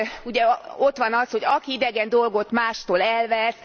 Ugye ott van az, hogy aki idegen dolgot mástól elvesz...